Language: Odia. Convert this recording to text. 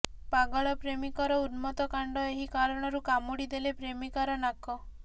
ପାଗଳ ପ୍ରେମିକର ଉନ୍ମତ୍ତ କାଣ୍ଡ ଏହି କାରଣରୁ କାମୁଡ଼ି ଦେଲେ ପ୍ରେମିକାର ନାକ